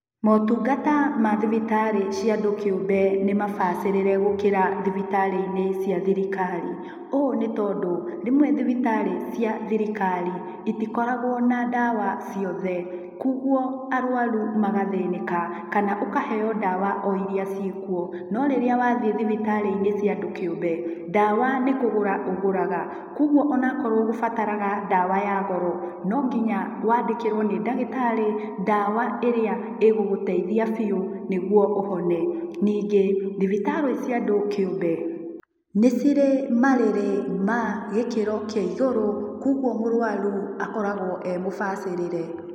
Maũtungata ma thibitarĩ cia andũ kĩũmbe nĩ mabacĩrĩre gũkĩra thibitarĩ-inĩ cia thirikari. Ũũ nĩ tondũ, rĩmwe thibitarĩ cia thirikari itikoragwo na ndawa ciothe. Kũoguo arũaru magathĩnĩka, kana ũkaheo ndawa o iria ciĩkuo. No rĩrĩa wathiĩ thibitarĩ-inĩ cia andũ kĩũmbe, ndawa nĩ kũgũra ũgũraga kũoguo onakorwo ũgũbarataga ndawa ya goro, no nginya waandĩkĩrwo nĩ ndagĩtarĩ ndawa ĩrĩa ĩgũgũteithia biũ nĩguo ũhone. Ningĩ thibitarĩ cia andũ kĩũmbe nĩ cirĩ marĩrĩ ma gĩkĩro kĩa igũrũ, kũoguo mũrũaru akoragwo emũbacĩrĩre.